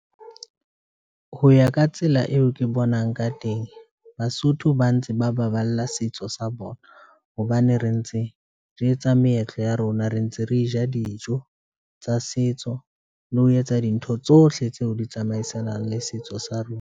Ho ya ka tsela eo ke bonang ka teng, Basotho ba ntse ba baballa setso sa bona hobane re ntse re etsa meetlo ya rona, re ntse re ja dijo tsa setso le ho etsa dintho tsohle tseo di tsamaisanang le setso sa rona.